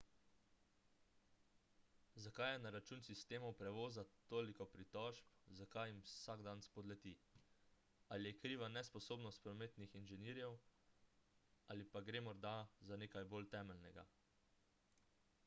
zakaj je na račun sistemov prevoza toliko pritožb zakaj jim vsak dan spodleti ali je kriva nesposobnost prometnih inženirjev ali pa gre morda za nekaj bolj temeljnega